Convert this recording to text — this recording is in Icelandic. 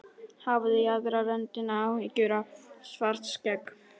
Hafði í aðra röndina áhyggjur af Svartskegg.